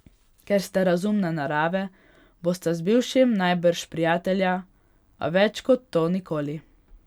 Ker ste razumne narave, bosta z bivšim najbrž prijatelja, a več kot to nikoli.